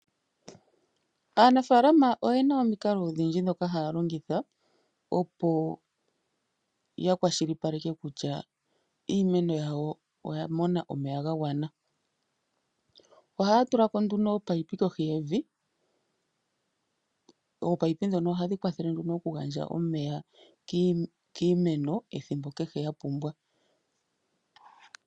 Aanafaalama oyena omikalo odhindji dhoka haya longitha, opo ya kwashilipaleke kutya iimeno yawo oya mona omeya ga gwana. Ohaya tula ko nduno opaipi kohi yevi, oopaipi dhono ohadhi kwathele nduno oku gandja omeya kiimeno ethimbo kehe ya pumbwa.